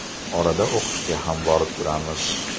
Orada o‘qishga ham borib turamiz.